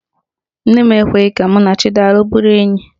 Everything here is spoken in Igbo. Nne m ekweghi ka mụ na Chidalụ bụrụ enyi.